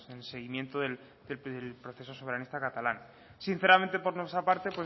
en el seguimiento del proceso soberanista catalán sinceramente por nuestra parte